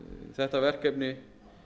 þetta verkefni